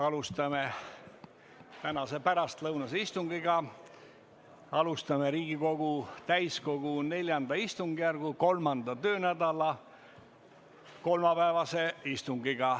Alustame tänast pärastlõunast istungit, Riigikogu täiskogu IV istungjärgu kolmanda töönädala kolmapäevast istungit.